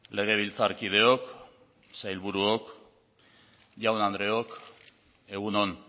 legebiltzarkideok sailburuok jaun andreok egun on